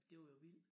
Det var jo vildt